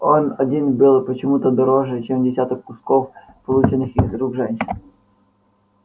он один был почему то дороже чем десяток кусков полученных из рук женщин